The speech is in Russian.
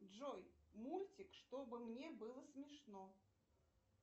джой мультик чтобы мне было смешно